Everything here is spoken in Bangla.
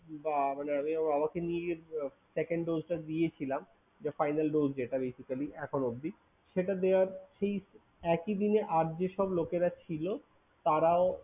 বা~ মানে আমি বাবাকে নিয়ে গিয়ে second dose টা দিয়েছিলাম যে final dose যেটা basically এখনো অবধি, সেটা দেওয়ার সেই একই দিনে আর যেসব লোকেরা ছিল তারাও